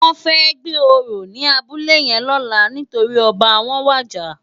Wòn fè gbé óró ni àbúlé yèn lòlá nitóri òbá wòn wàjá